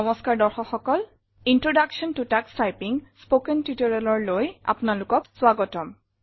spoken Tutorialৰ introduction ত touch typing আপোনাক স্বাগতম জনালো